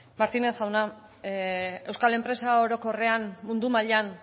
martínez jauna euskal enpresa orokorrean mundu mailan